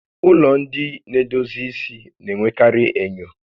Ụlọ ndị na-edozi isi na-enwekarị enyo